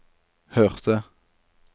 hørte